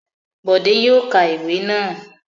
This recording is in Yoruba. Bọ̀dé yóò ka ìwé náà.